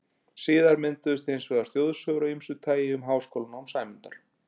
Síðar mynduðust hins vegar þjóðsögur af ýmsu tagi um háskólanám Sæmundar.